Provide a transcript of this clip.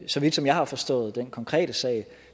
så vidt som jeg har forstået den konkrete sag